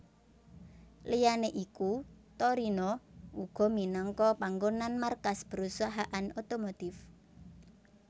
Liyané iku Torino uga minangka panggonan markas perusahaan otomotif